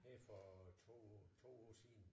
Her for 2 2 uger siden